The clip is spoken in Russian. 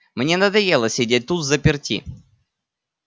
мне надоело сидеть тут взаперти